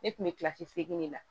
Ne kun bɛ kilasi seginne de la